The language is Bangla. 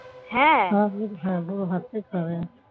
পুরো ভাতটাই খারাপ হয়ে গেছে